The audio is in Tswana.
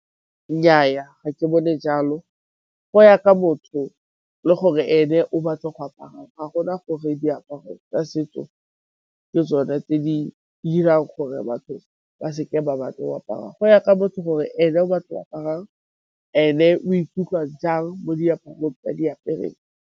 Nnyaa, ga ke bone jalo go ya ka motho le gore e ne o batlo go aparang. Ga go na gore diaparo tsa setso ke tsone tse di dirang gore batho ba se ke ba batla go apara. Go ya ka motho gore e ne o batlo aparang, e ne o ikutlwa jang mo diaparong tse a di apereng.